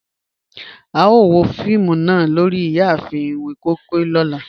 A yoo wo fiimu naa lori iyaafin iwin koi koi ni ọlá